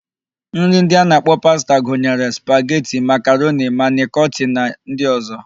Nri ndị a na-akpọ pasta gunyere: spageti, makaroni, manịkoti na ndị ọ̀zọ́.